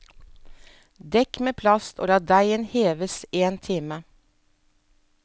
Dekk med plast og la deigen heves en time.